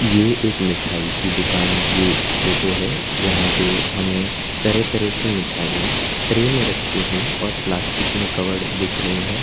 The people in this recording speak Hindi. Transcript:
ये एक मिठाई की दुकान की फोटो है जहां पे हमें तरह तरह की मिठाईयां ट्रे में रखी हुई और प्लास्टिक में कवर्ड दिख रही हैं।